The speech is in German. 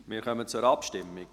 Wir kommen zur Abstimmung.